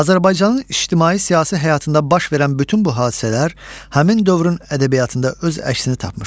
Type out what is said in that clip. Azərbaycanın ictimai-siyasi həyatında baş verən bütün bu hadisələr həmin dövrün ədəbiyyatında öz əksini tapmışdır.